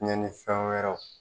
tiyɛni fɛn wɛrɛw